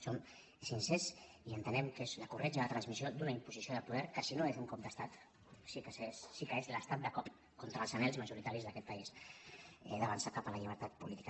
som sincers i entenem que és la corretja de transmissió d’una imposició de poder que si no és un cop d’estat sí que és l’estat de cop contra els anhels majoritaris d’aquest país d’avançar cap a la llibertat política